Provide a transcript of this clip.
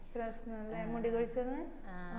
പ്രശ്‌നം അല്ലെ മുടി കൊഴിച്ചലിന്